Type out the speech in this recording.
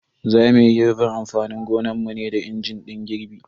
Za muyi girbin amfanin gonanmu ne da injin din girbi.